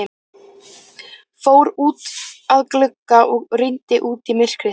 Fór út að glugga og rýndi út í myrkrið.